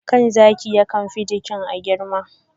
kan zaki yakan fi jikin a girma.